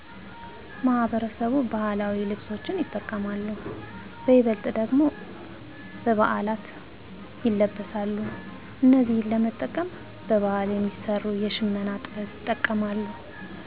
ማህበረሰቡ ባህላዊ ልብሶችን ይጠቀማሉ በይበልጥ ደግሞ በበዓላት ይለበሳሉ እነዚህን ለመጠቀም በባህል የሚሰሩ የሽመና ጥበብ ይጠቀማሉ